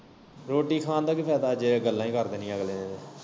ਰੋਟੀ ਖਾਣ ਦਾ ਕੀ ਫੈਦਾ ਜੇ ਗੱਲਾਂ ਹੀ ਕਰ ਦੇਣੀਆਂ ਅਗਲੇ ਨੇ।